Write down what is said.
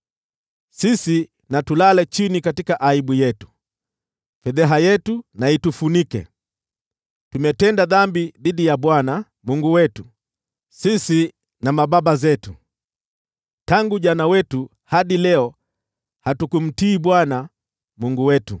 Sisi na tulale chini katika aibu yetu, na fedheha yetu itufunike. Tumetenda dhambi dhidi ya Bwana Mungu wetu, sisi na mababa zetu; tangu ujana wetu hadi leo hatukumtii Bwana Mungu wetu.”